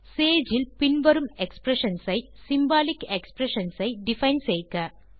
Sage இல் பின் வரும் எக்ஸ்பிரஷன்ஸ் ஐ சிம்பாலிக் எக்ஸ்பிரஷன்ஸ் ஐ டிஃபைன் செய்க